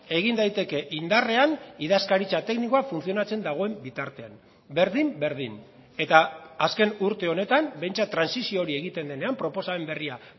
egin daiteke indarrean idazkaritza teknikoa funtzionatzen dagoen bitartean berdin berdin eta azken urte honetan behintzat trantsizio hori egiten denean proposamen berria